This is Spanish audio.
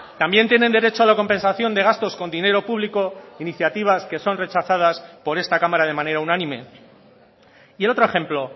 también tienen derecho a la compensación de gastos con dinero público iniciativas que son rechazadas por esta cámara de manera unánime y el otro ejemplo